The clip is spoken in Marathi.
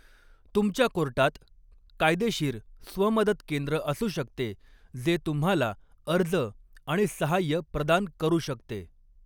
तुमच्या कोर्टात कायदेशीर स्व मदत केंद्र असू शकते जे तुम्हाला अर्ज आणि साहाय्य प्रदान करू शकते.